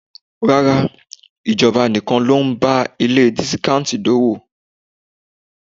Rárá, ìjọba nìkan ló ń bá ilé dísíkántì d'ówó.